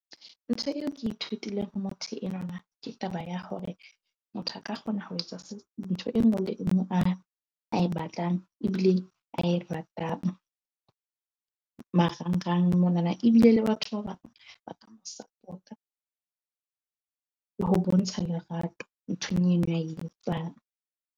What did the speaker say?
Ntho eo ke ithutileng ho motho enwana ke taba ya hore motho a ka kgona ho etsa ntho e nngwe le e nngwe a a e batlang ebile a e ratang. Marang-rang mona ebile le batho ba bang ba ka sapota le ho bontsha lerato nthong eno a e etsang.